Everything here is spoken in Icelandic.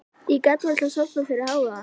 Ég gat varla sofnað fyrir hávaða.